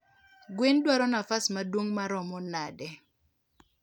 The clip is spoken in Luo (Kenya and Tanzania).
gwen dwaro nafas maduong maromo nade?